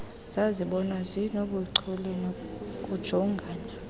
zazibonwa zinobuchule bokujongana